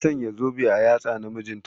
Ta Sanya zobe a yatsa na mijinta.